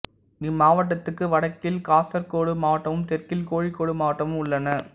இம்மாவட்டத்துக்கு வடக்கில் காசர்கோடு மாவட்டமும் தெற்கில் கோழிக்கோடு மாவட்டமும் உள்ளன